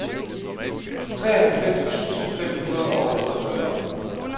treoghalvfems tusind fem hundrede og otteogfyrre